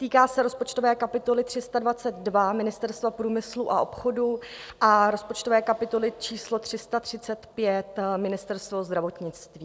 Týká se rozpočtové kapitoly 322 Ministerstvo průmyslu a obchodu a rozpočtové kapitoly číslo 335 Ministerstvo zdravotnictví.